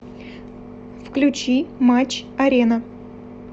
включи матч арена